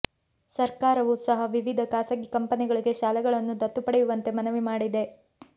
ಸರ್ಕಾರವೂ ಸಹ ವಿವಿಧ ಖಾಸಗಿ ಕಂಪೆನಿಗಳಿಗೆ ಶಾಲೆಗಳನ್ನು ದತ್ತು ಪಡೆಯುವಂತೆ ಮನವಿ ಮಾಡಿದೆ